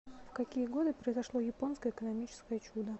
в какие годы произошло японское экономическое чудо